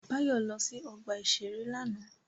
Báyọ̀ lọ sí ọgbà-ìṣeré lánàá